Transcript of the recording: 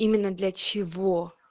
именно для чего